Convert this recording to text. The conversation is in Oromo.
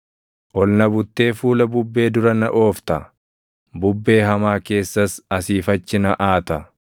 Ol na buttee fuula bubbee dura na oofta; bubbee hamaa keessas asii fi achi na aata.